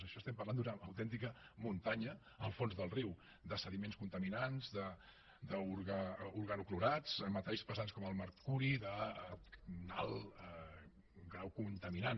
això estem parlant d’una autèntica muntanya al fons del riu de sediments contaminants d’organoclorats metalls pesants com el mercuri d’un alt grau contaminant